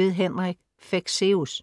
(6:8) Henrik Fexeus